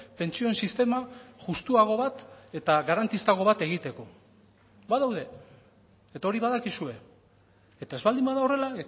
pentsioen sistema justuago bat eta garantistago bat egiteko badaude eta hori badakizue eta ez baldin bada horrela